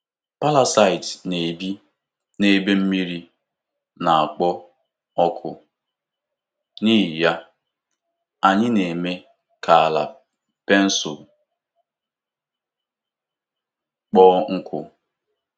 Parasaiti na-ebi n'ebe mmiri na-ekpo ọkụ, n'ihi ya, anyị na-eme ka ala pensụl kpọọ nkụ.